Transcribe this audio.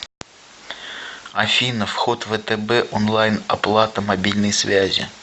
афина вход втб онлайн оплата мобильной связи